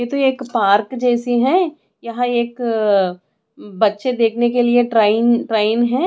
ये तो एक पार्क जैसी है यहाँ एक अ बच्चे देखने के लिए ट्रायिंग ट्रायिंग है।